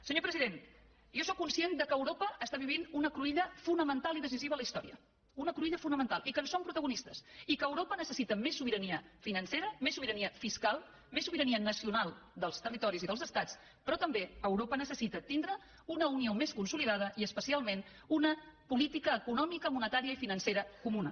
senyor president jo sóc conscient que europa està vivint una cruïlla fonamental i decisiva en la història una cruïlla fonamental i que en som protagonistes i que europa necessita més sobirania financera més sobirania fiscal més sobirania nacional dels territoris i dels estats però també europa necessita tindre una unió més consolidada i especialment una política econòmica monetària i financera comuna